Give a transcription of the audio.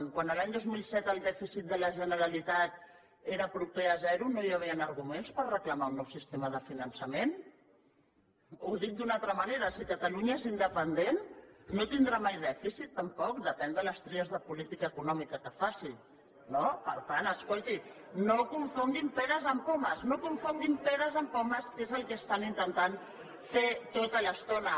quan l’any dos mil set el dèficit de la generalitat era proper a zero no hi havien arguments per reclamar un nou sistema de finançament ho dic d’una altra manera si catalunya és independent no tindrà mai dèficit tampoc depèn de les tries de política econòmica que faci no per tant escolti no confonguin peres amb pomes no confonguin peres amb pomes que és el que estan intentant fer tota l’estona